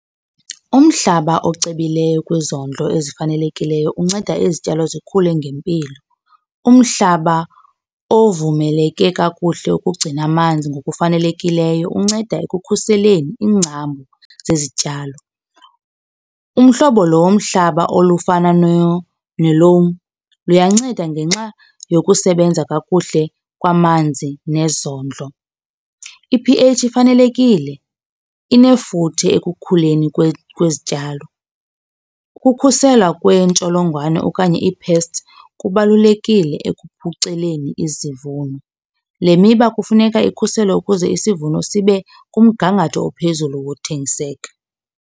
Umhlaba ocebileyo kwizondlo ezifanelekileyo unceda izityalo zikhule ngempilo. Umhlaba ovumeleke kakuhle ukugcina amanzi ngokufanelekileyo unceda ekukhuseleni iingcambu zezityalo. Umhlobo lo womhlaba olufana luyanceda ngenxa yokusebenza kakuhle kwamanzi nezondlo. I-P_H ifanelekile, inefuthe ekukhuleni kwezityalo. Ukukhuselwa kwentsholongwane okanye ii-pests kubalulekile ekuphuculeni izivuno. Le miba kufuneka ikhuselwe ukuze isivuno sibe kumgangatho ophezulu wothengiseka.